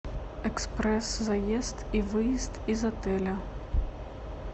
экспресс заезд и выезд из отеля